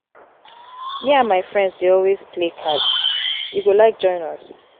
me and my friends dey always play cards you go like join us?